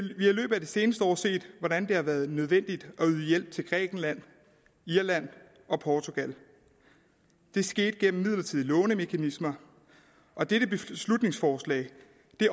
seneste år set hvordan det har været nødvendigt at yde hjælp til grækenland irland og portugal det skete gennem midlertidige lånemekanismer og dette beslutningsforslag